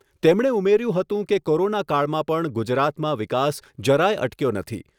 તેમણે ઉમેર્યું હતું કે કોરોના કાળમાં પણ ગુજરાતમાં વિકાસ જરાય અટક્યો નથી